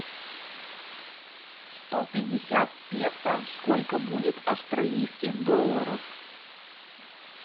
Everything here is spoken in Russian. сто пятьдесят песо сколько будет австралийских долларов